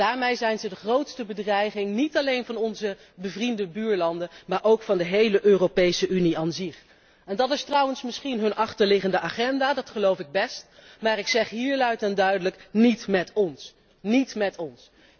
Daarmee zijn zij de grootste bedreiging, niet alleen van onze bevriende buurlanden, maar ook van de hele Europese Unie als zodanig Dat is trouwens misschien hun achterliggende agenda, dat geloof ik best, maar ik zeg hier luid en duidelijk niet met ons!